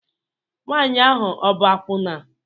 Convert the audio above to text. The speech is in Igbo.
Nwanyị ahụ ọ bụ akwụna?